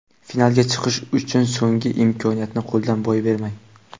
Finalga chiqish uchun so‘nggi imkoniyatni qo‘ldan boy bermang!.